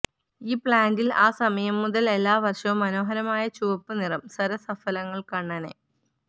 ഈ പ്ലാൻറിൽ ആ സമയം മുതൽ എല്ലാ വർഷവും മനോഹരമായ ചുവപ്പു നിറം സരസഫലങ്ങൾ കണ്ണനെ